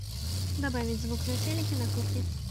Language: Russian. добавить звук на телике на кухне